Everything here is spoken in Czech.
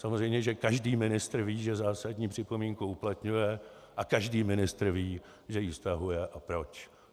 Samozřejmě, že každý ministr ví, že zásadní připomínku uplatňuje, a každý ministr ví, že ji stahuje a proč.